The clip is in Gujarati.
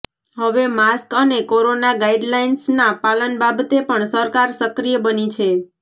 હવે માસ્ક અને કોરોના ગાઈડલાઈન્સ ના પાલન બાબતે પણ સરકાર સક્રિય બની છે